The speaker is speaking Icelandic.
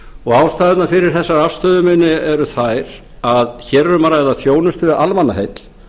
og ástæðurnar fyrir þessari afstöðu minni eru þær að hér er um að ræða þjónustu við almannaheill